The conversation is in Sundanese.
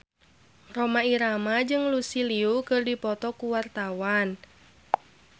Rhoma Irama jeung Lucy Liu keur dipoto ku wartawan